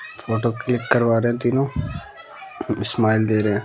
Photo click करवा रहे तीनो अ इस्माइल दे रहे हें।